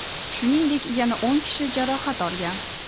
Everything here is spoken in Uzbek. Shuningdek, yana o‘n kishi jarohat olgan.